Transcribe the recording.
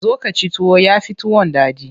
Zo ka ci tuwo, ya fi tuwon daɗi.